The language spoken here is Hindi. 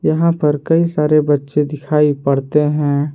यहां पर कई सारे बच्चे दिखाई पड़ते हैं।